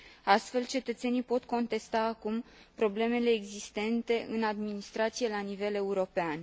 Astfel, cetățenii pot contesta acum problemele existente în administrație la nivel european.